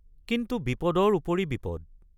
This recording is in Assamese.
কিন্তু বিপদৰ উপৰি বিপদ।